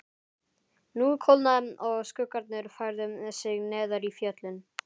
Nú kólnaði og skuggarnir færðu sig neðar í fjöllin.